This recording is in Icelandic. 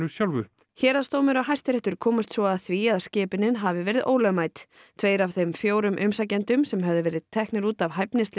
sjálfu héraðsdómur og Hæstiréttur komust svo að því að skipunin hafi verið ólögmæt tveir af þeim fjórum umsækjendum sem höfðu verið teknir út af